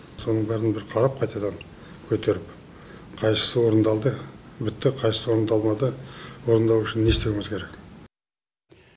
соның бәрін бір қарап қайтадан көтеріп қайсысы орындалды бітті қайсысы орындалмады орындау үшін не істеуіміз керек